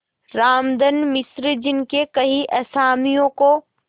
रामधन मिश्र जिनके कई असामियों को